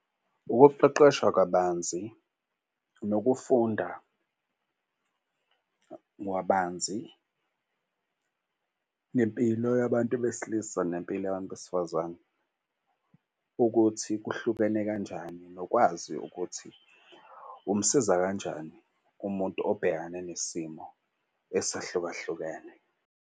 Ukuqeqeshwa kabanzi nokufunda ngabanzi ngempilo yabantu besilisa nempilo yabantu besifazane, ukuthi kuhlukene kanjani nokwazi ukuthi umsiza kanjani kumuntu obhekane nesimo esehlukahlukene.